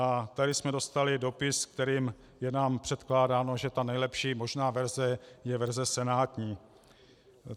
A tady jsme dostali dopis, kterým je nám předkládáno, že ta nejlepší možná verze je verze senátní.